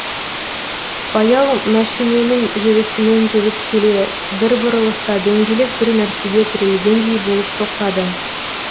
баяу мәшиненің жүрісімен жүріп келе бір бұрылыста дөңгелек бір нәрсеге тірелгендей болып тоқтады